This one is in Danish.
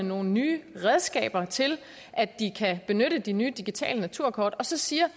nogle nye redskaber til at benytte de nye digitale naturkort og så siger